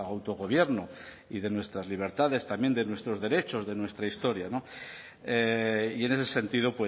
autogobierno y de nuestras libertades también de nuestros derechos de nuestra historia y en ese sentido